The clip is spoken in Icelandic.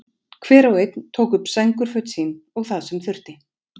Hver og einn tók upp sængurföt sín og það sem þurfti.